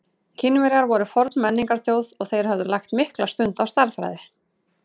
Kínverjar voru forn menningarþjóð og þeir höfðu lagt mikla stund á stærðfræði.